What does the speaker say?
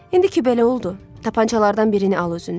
İndi ki, belə oldu, tapançalardan birini al özündə.